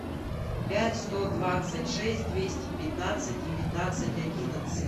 пять сто двадцать шесть двести пятнадцать девятнадцать одиннадцать